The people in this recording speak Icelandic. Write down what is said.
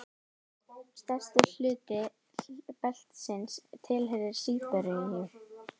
Stærstur hluti beltisins tilheyrir Síberíu.